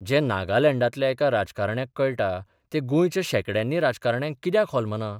जें नागालँडांतल्या एका राजकारण्याक कळटा तें गोंयच्या शेकड्यांनी राजकारण्यांक कित्याक होलमना?